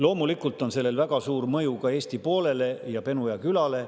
Loomulikult on sellel väga suur mõju ka Eesti poolele ja Penuja külale.